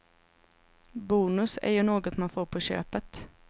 Bonus är ju något man får på köpet.